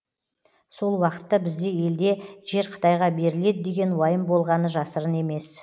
сол уақытта бізде елде жер қытайға беріледі деген уайым болғаны жасырын емес